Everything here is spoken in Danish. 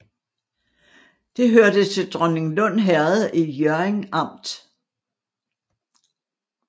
Det hørte til Dronninglund Herred i Hjørring Amt